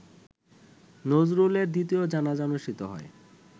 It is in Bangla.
নজরুলের দ্বিতীয় জানাজা অনুষ্ঠিত হয়